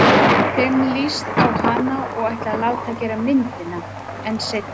Þeim líst á hana og ætla að láta gera myndina- en seinna.